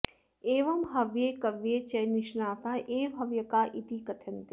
एवं हव्ये कव्ये च निष्णाताः एव हव्यकाः इति कथ्यन्ते